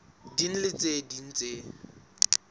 ding le tse ding tse